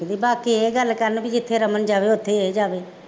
ਬਾਕੀ ਇਹ ਗੱਲ ਕਰਨ ਬਈ ਜਿੱਥੇ ਰਮਨ ਜਾਵੇ ਉੱਥੇ ਇਹ ਜਾਵੇ